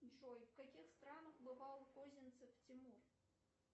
джой в каких странах бывал козинцев тимур